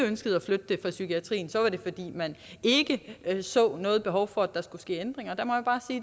ønskede at flytte det fra psykiatrien så var det fordi man ikke så noget behov for at der skulle ske ændringer og der må